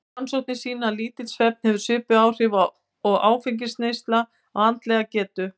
Rannsóknir sýna að lítill svefn hefur svipuð áhrif og áfengisneysla á andlega getu.